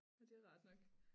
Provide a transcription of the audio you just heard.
Og det er rart nok